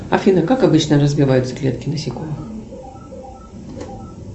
афина как обычно развиваются клетки насекомых